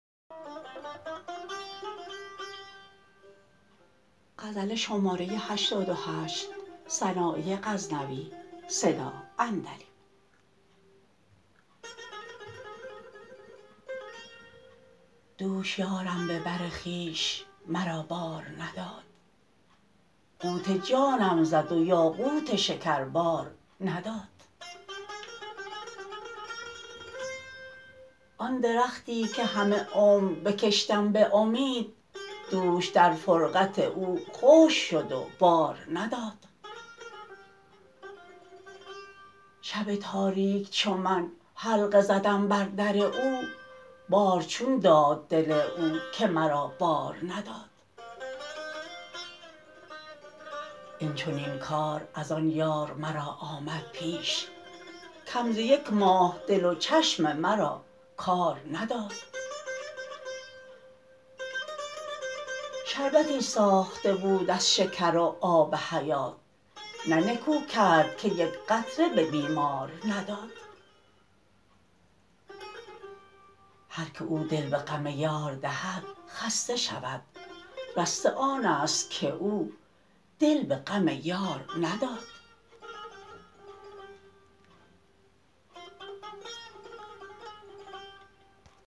دوش یارم به بر خویش مرا بار نداد قوت جانم زد و یاقوت شکر بار نداد آن درختی که همه عمر بکشتم به امید دوش در فرقت او خشک شد و بار نداد شب تاریک چو من حلقه زدم بر در او بار چون داد دل او که مرا بار نداد این چنین کار از آن یار مرا آمد پیش کم ز یک ماه دل و چشم مرا کار نداد شربتی ساخته بود از شکر و آب حیات نه نکو کرد که یک قطره به بیمار نداد هر که او دل به غم یار دهد خسته شود رسته آنست که او دل به غم یار نداد